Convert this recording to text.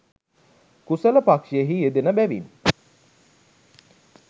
කුසල පක්‍ෂයෙහි යෙදෙන බැවින්